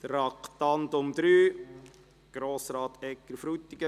Wir kommen zum Traktandum 3, der Motion von Grossrat Egger, Frutigen: